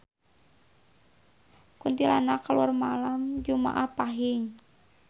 Kuntilanak kaluar malem jumaah Pahing